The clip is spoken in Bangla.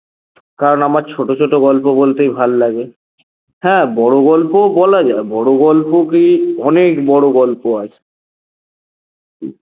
কারণ আমার ছোট ছোট গল্প বলতেই ভালো লাগে হ্যাঁ বড় গল্পও বলা যায় বড় গল্প কি অনেক বড় গল্প আছে